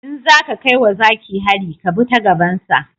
In zaka kai wa zaki hari ka bi ta gaban sa